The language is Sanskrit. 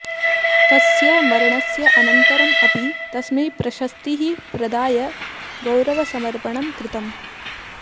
तस्य मरणस्य अनन्तरम् अपि तस्मै प्रश्स्तीः प्रदाय गौरवसमर्पणं कृतम्